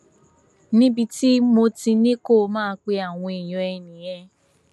níbi tí mo ti ní kó máa pe àwọn èèyàn ẹ nìyẹn